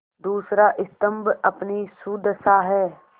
दूसरा स्तम्भ अपनी सुदशा है